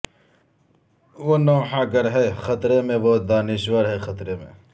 وہ نوحہ گر ہے خطرے میں وہ دانشور ہے خطرے میں